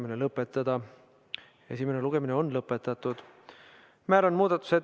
Seadus jõustub üldises korras ning eelnõu on kooskõlastatud ettevõtjatega läbi erialaliitude.